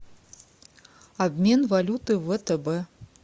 обмен валюты в втб